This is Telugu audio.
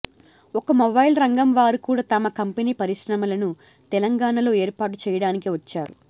ఇక మొబైల్ రంగం వారు కూడా తమ కంపెనీ పరిశ్రమలను తెలంగాణా లో ఏర్పాటు చేయడానికి వచ్చారు